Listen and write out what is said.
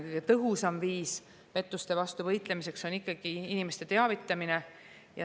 Kõige tõhusam viis pettuste vastu võitlemiseks on ikkagi inimeste teavitamine.